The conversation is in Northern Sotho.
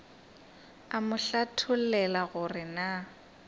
a mo hlathollela gore na